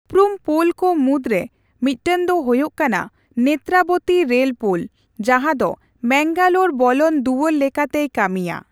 ᱩᱯᱨᱩᱢ ᱯᱳᱞ ᱠᱚ ᱢᱩᱫᱽᱨᱮ ᱢᱤᱫᱴᱟᱝ ᱫᱚ ᱦᱳᱭᱳᱜ ᱠᱟᱱᱟ ᱱᱮᱛᱛᱨᱟᱵᱚᱛᱤ ᱨᱮᱞᱯᱳᱞ ᱡᱟᱦᱟᱸ ᱫᱚ ᱢᱮᱝᱜᱟᱞᱳᱨ ᱵᱚᱞᱚᱱ ᱫᱩᱣᱟᱹᱨ ᱞᱮᱠᱟᱛᱮᱭ ᱠᱟᱹᱢᱤᱭᱟ ᱾